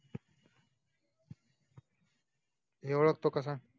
हे ओडखतो काय